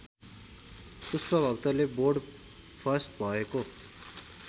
पुष्पभक्तले board first भएको